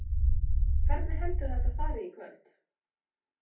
Hvernig heldurðu að þetta fari í kvöld?